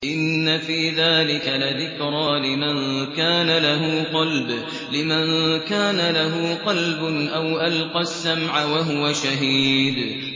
إِنَّ فِي ذَٰلِكَ لَذِكْرَىٰ لِمَن كَانَ لَهُ قَلْبٌ أَوْ أَلْقَى السَّمْعَ وَهُوَ شَهِيدٌ